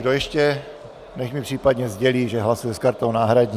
Kdo ještě, nechť mi případně sdělí, že hlasuje s kartou náhradní.